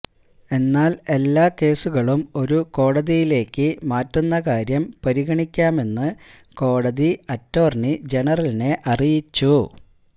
എന്നാല് എല്ലാ കേസുകളും ഒരു കോടതിയിലേക്ക് മാറ്റുന്ന കാര്യം പരിഗണിക്കാമെന്ന് കോടതി അറ്റോര്ണി ജനറലിനെ അറിയിച്ചു